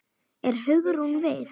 Er Hugrún við?